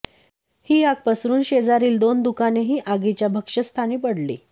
ही आग पसरून शेजारील दोन दुकानेही आगीच्या भक्षस्थानी पडली